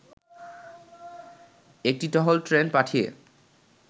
একটি টহল ট্রেন পাঠিয়ে